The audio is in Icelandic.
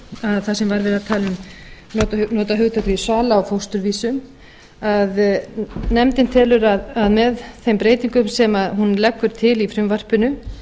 sem var verið að nota hugtakið sala á fósturvísum að nefndin telur að með þeim breytingum sem hún leggur til í frumvarpinu